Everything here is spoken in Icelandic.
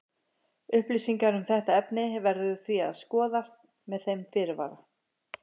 Upplýsingar um þetta efni verður því að skoðast með þeim fyrirvara.